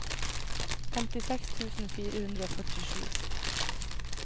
femtiseks tusen fire hundre og førtisju